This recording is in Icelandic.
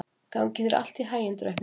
Gangi þér allt í haginn, Draupnir.